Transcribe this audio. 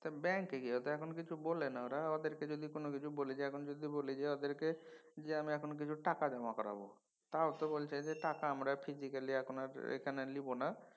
ব্যাঙ্কে গিয়ে তো এখন কিছু বলে না ওরা। ওদেরকে যদি কোনও কিছু বলি এখন যদি বলি যে ওদের থেকে যে আমি এখন কিছু টাকা জমা করাব তাও তো বলছে যে টাকা আমরা physically এখন আর লিব না।